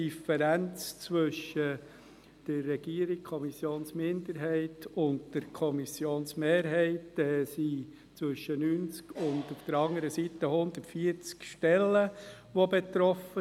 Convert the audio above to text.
Bei der Differenz zwischen der Regierung und der Kommissionsminderheit auf der einen Seite und der Kommissionmehrheit auf der anderen Seite sind zwischen 90 bis 140 Stellen betroffen.